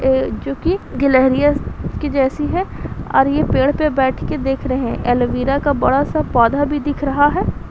अ जो कि गिलहरियां की जैसी है और ये पेड़ पर बैठकर देख रहे हैं एलोवेरा का बड़ा-सा पौधा भी दिख रहा है।